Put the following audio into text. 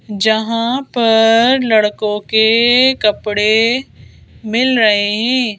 यहां पर लड़कों के कपड़े मिल रहे हैं।